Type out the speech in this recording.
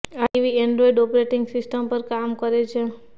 આ TV Android operating system પર કામ કરે છે